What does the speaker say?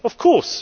Of course.